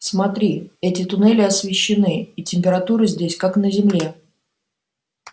смотри эти туннели освещены и температура здесь как на земле